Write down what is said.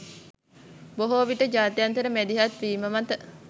බොහෝ විට ජාත්‍යන්තර මැදිහත්වීම මත